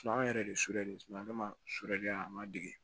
Suman yɛrɛ de ye a ma dege